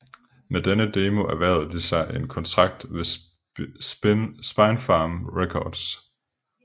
Med denne demo erhvervede de sig en kontrakt ved Spinefarm Records